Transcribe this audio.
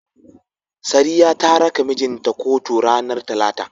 Sariya ta raka mijin ta kotu ranar Talata.